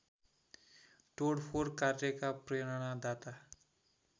तोडफोड कार्यका प्रेरणादाता